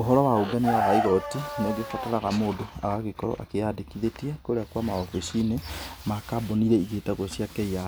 Ũhoro wa ũngania wa igoti nĩ ũgĩbataraga mũndũ agagĩkorwo akĩyandĩkithĩtie kũrĩa kwa maobici-inĩ ma kambũni iria igĩtagwo cia KRA,